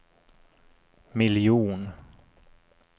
miljon